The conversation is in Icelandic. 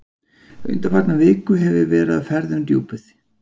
Undanfarna viku hef ég verið á ferð um Djúpið.